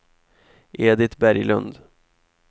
Edit Berglund